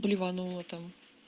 блеванула золотом